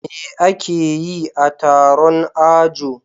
Me akeyi a Taron ajo